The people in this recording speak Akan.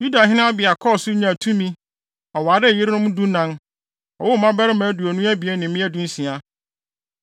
Yudahene Abia kɔɔ so nyaa tumi. Ɔwaree yerenom dunan. Ɔwoo mmabarima aduonu abien ne mmea dunsia.